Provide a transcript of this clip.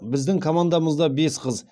біздің командамызда бес қыз